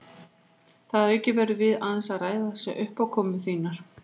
Þar að auki verðum við aðeins að ræða þessar uppákomur þínar.